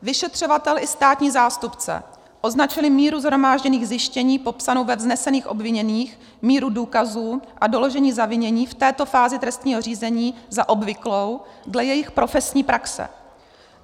Vyšetřovatel i státní zástupce označili míru shromážděných zjištění popsanou ve vznesených obviněních, míru důkazů a doložení zavinění v této fázi trestního řízení za obvyklou dle jejich profesní praxe.